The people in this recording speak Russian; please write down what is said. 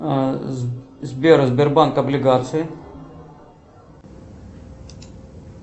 сбер сбербанк облигации